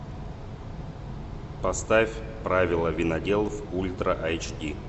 поставь правила виноделов ультра айч ди